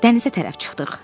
Dənizə tərəf çıxdıq.